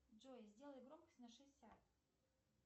джой сделай громкость на шестьдесят